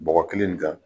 Bɔgɔ kelen nin kan